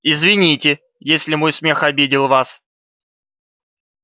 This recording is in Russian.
извините если мой смех обидел вас